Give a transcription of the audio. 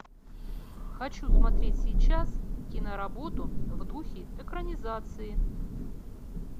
хочу смотреть сейчас киноработу в духе экранизации